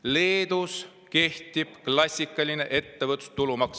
Leedus kehtib klassikaline ettevõtluse tulumaks.